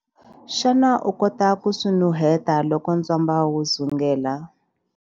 Xana u kota ku swi nuheta loko ntswamba wu dzungela?